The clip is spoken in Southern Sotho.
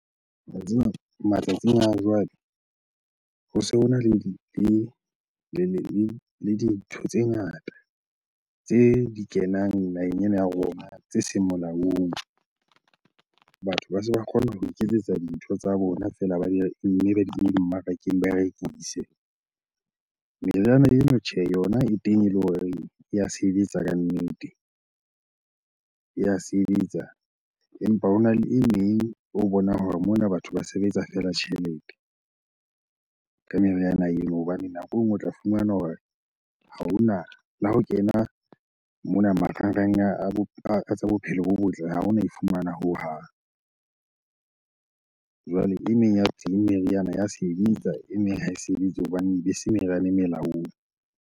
Wa tseba matsatsing a jwale ho se hona le dintho tse ngata tse di kenang naheng ena ya rona tse seng molaong. Batho ba se ba kgona ho iketsetsa dintho tsa bona feela mme ba di kenye dimmarakeng ba rekise. Meriana eno tjhehe yona e teng eleng horeng ya sebetsa kannete, ya sebetsa. Empa hona le e meng o bonang hore mona batho ba se ba etsa feela tjhelete ka meriana eo. Hobane nako e nngwe o tla fumana hore ha ona, le ha o kena mona marangrang a tsa bophelo bo botle, ha ona e fumana hohang. Jwale e meng ya teng meriana ya sebetsa, e meng ha e sebetse hobane ebe se meriana e molaong.